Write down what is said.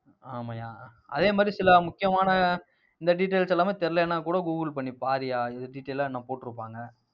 ஆமாய்யா, அதே மாதிரி சில முக்கியமான இந்த details எல்லாமே தெரியலைன்னா கூட கூகுள் பண்ணி பாருய்யா அது detail அ இன்னும் போட்டிருப்பாங்க.